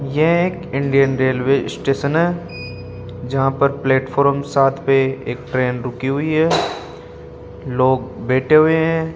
ये एक Indian railway station है जहां पर प्लेटफॉर्म सात पे एक ट्रेन रुकी हुई है लोग बैठे हुए हैं।